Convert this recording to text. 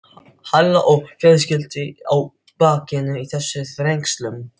Halla og fjölskyldu á bakinu í þessum þrengslum.